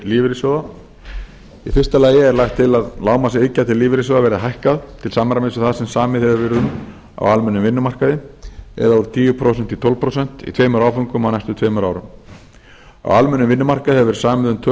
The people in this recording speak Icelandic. lífeyrissjóða í fyrsta lagi er lagt til að lágmarksiðgjald til lífeyrissjóða verði hækkað til samræmis við það sem samið hefur verið um á almennum vinnumarkaði eða úr tíu prósent í tólf prósent í tveimur áföngum á næstu tveimur árum á almennum vinnumarkaði hefur verði samið um tvö